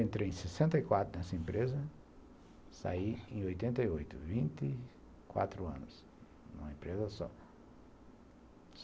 Então eu entrei em sessenta e quatro nessa empresa, saí em oitenta e oito, vinte e quatro anos numa empresa só.